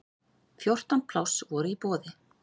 Fjórtán pláss voru í boði.